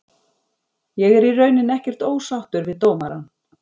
Ég er í rauninni ekkert ósáttur við dómarann.